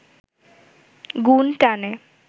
গুণ টানে